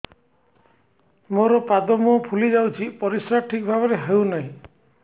ମୋର ପାଦ ମୁହଁ ଫୁଲି ଯାଉଛି ପରିସ୍ରା ଠିକ୍ ଭାବରେ ହେଉନାହିଁ